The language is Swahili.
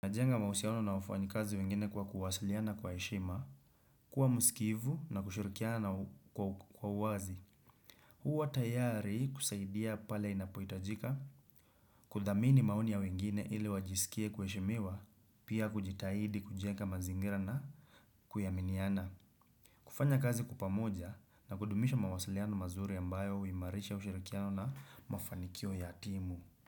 Najenga mausiaono na wafanyi kazi wengine kwa kuwasiliana kwa eshima, kuwa musikivu na kushirikiana kwa uwazi. Huwa tayari kusaidia pale inapoitajika, kudamini maoni ya wengine ili wajisikie kwa eshimiwa, pia kujitahidi kujenga mazingira na kuyaminiana. Kufanya kazi kwa pamoja na kudumisha mawasiliano mazuri ambayo huwimarisha ushirikiano na mafanikio ya timu.